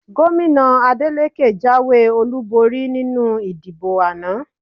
Gómìnà Adeleke jáwé olúborí nínú ìdìbò àná